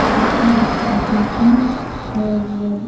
खिड़की दिख रही है और--